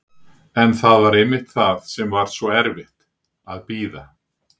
En það var einmitt það sem var svo erfitt, að bíða.